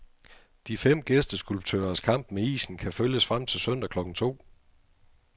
De fem gæsteskulptørers kamp med isen kan følges frem til søndag klokken to.